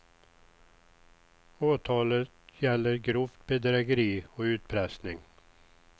Åtalet gäller grovt bedrägeri och utpressning.